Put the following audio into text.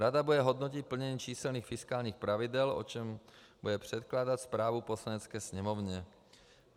Rada bude hodnotit plnění číselných fiskálních pravidel, o čemž bude předkládat zprávu Poslanecké sněmovně.